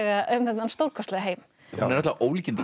um þennan stórkostlega heim hún er náttúrulega ólíkindatól